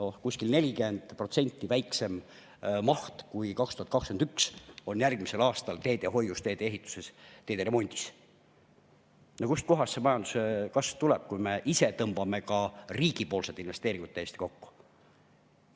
Järgmisel aastal on teedehoius, teedeehituses, teederemondis kuskil 40% väiksem töömaht, kui oli aastal 2021. Kust kohast see majanduskasv tuleb, kui me ise tõmbame riigipoolsed investeeringud täiesti kokku?